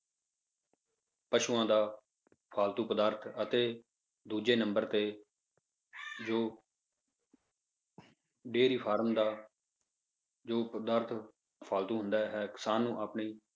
ਪਸੂਆਂ ਦਾ ਫਾਲਤੂ ਪਦਾਰਥ ਅਤੇ ਦੂਜੇ ਨੰਬਰ ਤੇ ਜੋ dairy farm ਦਾ ਜੋ ਪਦਾਰਥ ਫਾਲਤੂ ਹੁੰਦਾ ਹੈ ਕਿਸਾਨ ਨੂੰ ਆਪਣੀ